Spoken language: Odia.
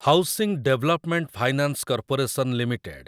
housing development finance corporation limited